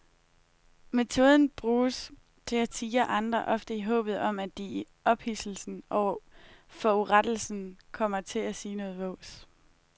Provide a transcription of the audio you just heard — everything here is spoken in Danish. Metoden bruges til at tirre andre, ofte i håbet om at de i ophidselsen over forurettelsen kommer til at sige noget vås.